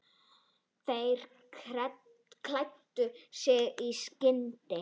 Þeir klæddu sig í skyndi.